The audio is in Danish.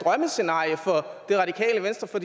drømmescenarie for det radikale venstre for